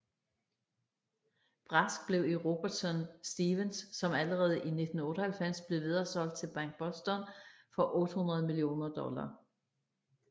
Brask blev i Robertson Stephens som allerede i 1998 blev videresolgt til BankBoston for 800 millioner dollar